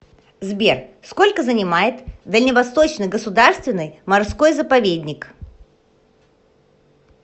сбер сколько занимает дальневосточный государственный морской заповедник